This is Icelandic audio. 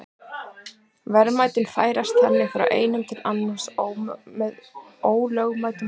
Verðmætin færast þannig frá einum til annars með ólögmætum hætti.